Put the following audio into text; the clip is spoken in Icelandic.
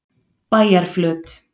Bæjarflöt